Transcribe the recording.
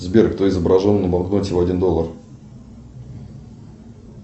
сбер кто изображен на банкноте в один доллар